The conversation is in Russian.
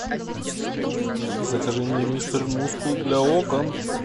закажи мне мистер мускул для окон